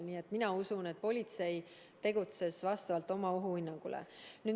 Nii et mina usun, et politsei tegutses vastavalt oma ohuhinnangule.